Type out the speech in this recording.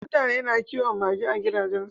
Mutane na kiwon mage a gidajen su